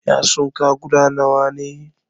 Yatsun ka guda nawa ne?